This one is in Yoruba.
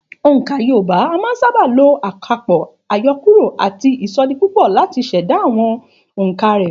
Ònkà Yorùbá a máa sábà lo àkàpọ̀, àyọkúrò àti ìsọdipúpọ̀ láti ṣẹ̀dá àwọn òǹkà rẹ̀